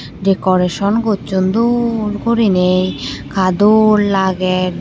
Dekoreson gosson dol gurine ka dol lager.